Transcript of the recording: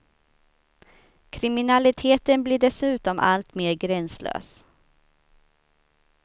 Kriminaliteten blir dessutom allt mer gränslös.